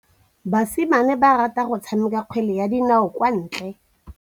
Basimane ba rata go tshameka kgwele ya dinaô kwa ntle.